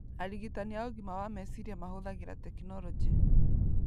Arigitani a ũgima wa meciria mahũthagĩra tekinoronjĩ,